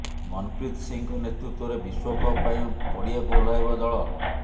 ମନପ୍ରୀତ ସିଂଙ୍କ ନେତୃତ୍ୱରେ ବିଶ୍ୱକପ ପାଇଁ ପଡ଼ିଆକୁ ଓହ୍ଲାଇବ ଦଳ